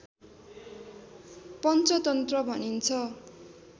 पंचतन्त्र भनिन्छ